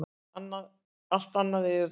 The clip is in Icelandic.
Allt annað er erótík.